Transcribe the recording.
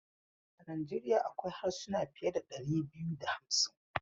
A Nijeriya akwai harsuna fiye da dari biyu da hamsin.